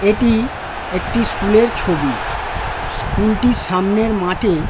এটি একটি স্কুল -এর ছবি | স্কুলটির সামনের মাঠে --